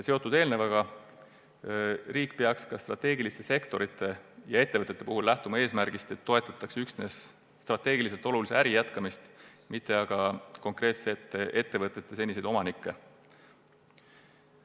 Eelnevaga seoses peaks riik lähtuma strateegiliste sektorite ja ettevõtete puhul eesmärgist, et toetatakse üksnes strateegiliselt olulise äri jätkamist, mitte konkreetsete ettevõtete seniseid omanikke.